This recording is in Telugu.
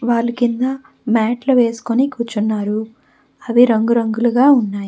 వాళ్ళ కింద మ్యాట్లు వేసుకుని కూర్చున్నారు అవి రంగురంగులుగా ఉన్నాయి.